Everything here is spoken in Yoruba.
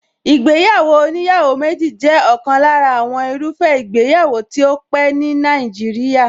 Ìgbéyàwó oníyàwó méjì jẹ́ ọ̀kan lára àwọn irúfẹ́ ìgbéyàwó tó tí pẹ́ ní Nàìjíríà.